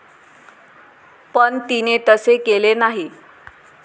पण तिने तसे केले नाही.